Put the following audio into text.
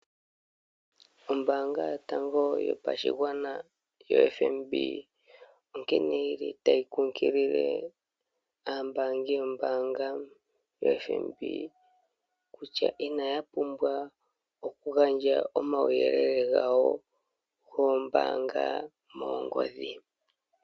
Ombanga yotango yopashingwana yo FNB onkene yili tayi kukilile ambangi yombanga yo FNB kutya inaya pumbwa okugandja omawuyelele ngawo ngoombanga mongodhi.